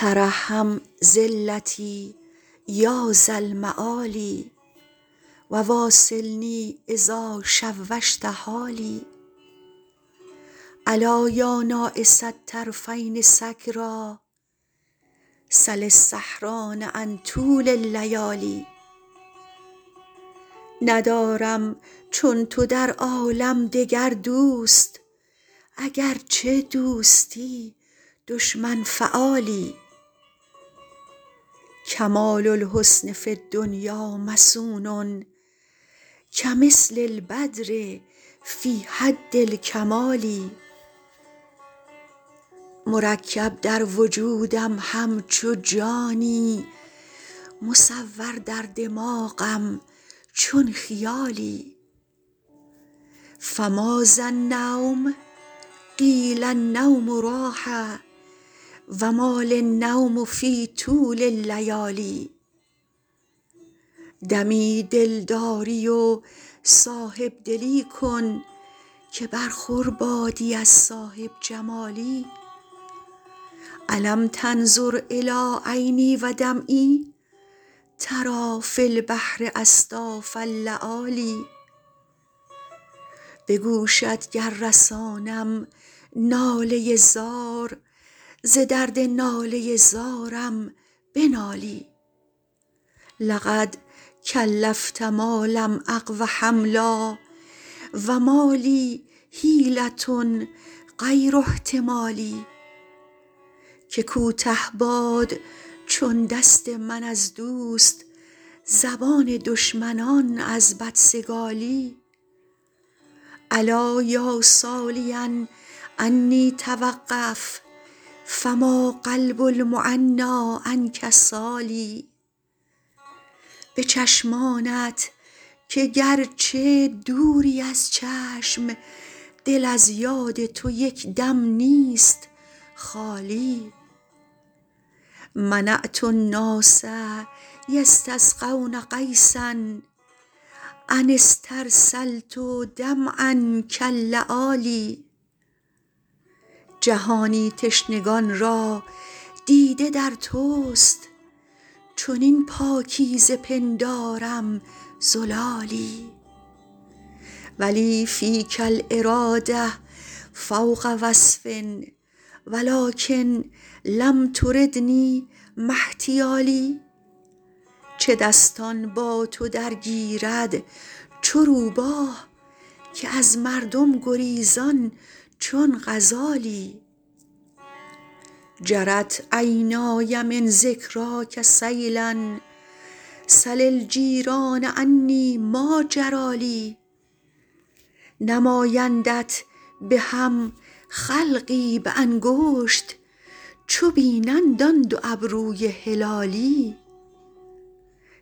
ترحم ذلتی یا ذا المعالی و واصلنی اذا شوشت حالی ألا یا ناعس الطرفین سکریٰ سل السهران عن طول اللیالی ندارم چون تو در عالم دگر دوست اگرچه دوستی دشمن فعالی کمال الحسن فی الدنیا مصون کمثل البدر فی حد الکمال مرکب در وجودم همچو جانی مصور در دماغم چون خیالی فماذا النوم قیل النوم راحه و ما لی النوم فی طول اللیالی دمی دلداری و صاحب دلی کن که برخور بادی از صاحب جمالی ألم تنظر إلی عینی و دمعی تری فی البحر أصداف اللآلی به گوشت گر رسانم ناله زار ز درد ناله زارم بنالی لقد کلفت ما لم أقو حملا و ما لی حیلة غیر احتمالی که کوته باد چون دست من از دوست زبان دشمنان از بدسگالی الا یا سالیا عنی توقف فما قلب المعنیٰ عنک سال به چشمانت که گرچه دوری از چشم دل از یاد تو یک دم نیست خالی منعت الناس یستسقون غیثا أن استرسلت دمعا کاللآلی جهانی تشنگان را دیده در توست چنین پاکیزه پندارم زلالی و لی فیک الإراده فوق وصف و لکن لم تردنی ما احتیالی چه دستان با تو درگیرد چو روباه که از مردم گریزان چون غزالی جرت عینای من ذکراک سیلا سل الجیران عنی ما جری لی نمایندت به هم خلقی به انگشت چو بینند آن دو ابروی هلالی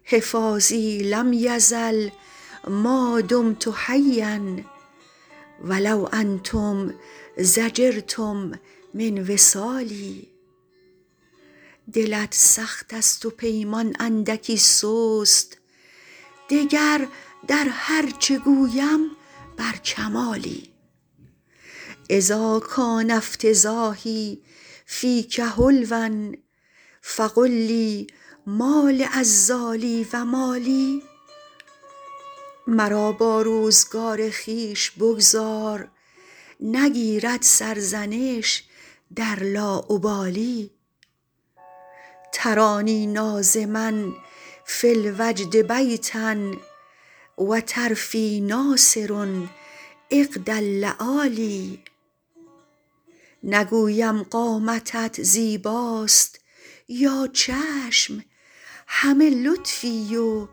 حفاظی لم یزل ما دمت حیا و لو انتم ضجرتم من وصالی دلت سخت است و پیمان اندکی سست دگر در هر چه گویم بر کمالی اذا کان افتضاحی فیک حلوا فقل لی ما لعذالی و ما لی مرا با روزگار خویش بگذار نگیرد سرزنش در لاابالی ترانی ناظما فی الوجد بیتا و طرفی ناثر عقد اللآلی نگویم قامتت زیباست یا چشم همه لطفی و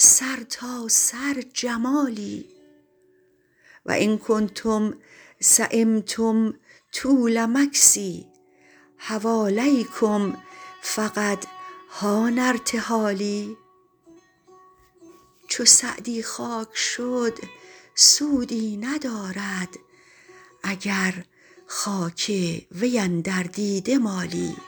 سرتاسر جمالی و ان کنتم سیمتم طول مکثی حوالیکم فقد حان ارتحالی چو سعدی خاک شد سودی ندارد اگر خاک وی اندر دیده مالی